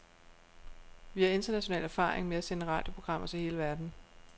Vi har international erfaring med at sende radioprogrammer til hele verden.